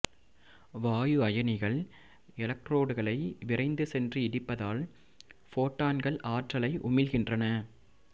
வாயு அயனிகள் எலக்ரோடுகளை விரைந்து சென்று இடிப்பதால் போட்டான்கள் ஆற்றலை உமிழ்கின்றன